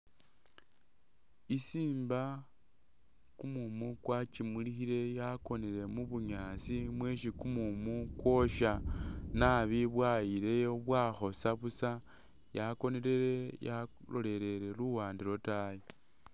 Isimba kumumu kwakimulikhile yakonele mu bunyaasi mwesi kumumu kwosha nabi bwayileyo bwakhosa busa, yakonele yalolelele luwande lwotayi